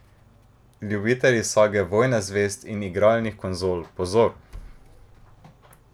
Ljubitelji sage Vojne zvezd in igralnih konzol, pozor!